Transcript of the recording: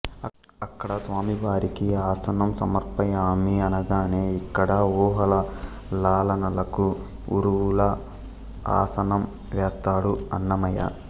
అక్కడ స్వామివారికి ఆసనం సమర్పయామి అనగానే ఇక్కడ ఊహల లాలనలకు ఊరువుల ఆసనం వేస్తాడు అన్నమయ్య